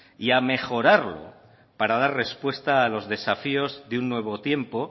y a mejorarlo para dar respuesta a los desafíos de un nuevo tiempo